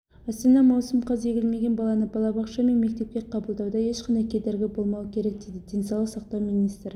астана маусым қаз егілмеген баланы балабақша мен мектепке қабылдауда ешқандай кедергі болмауы керек дейді денсаулық сақтау министрі